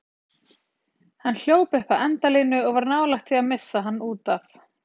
Hann hljóp upp að endalínu og var nálægt því að missa hann útaf.